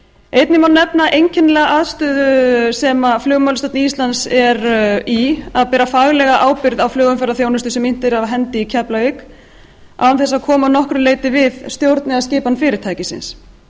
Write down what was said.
einnig má nefna einkennilega aðstöðu sem flugmálastjórn íslands er í að bera faglega ábyrgð á flugumferðarþjónustu sem innt er af hendi í keflavík án þess að koma að nokkru leyti við stjórn eða skipan fyrirtækisins